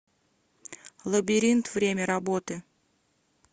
лабиринт время работы